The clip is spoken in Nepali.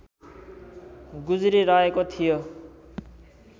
गुज्रिरहेको थियो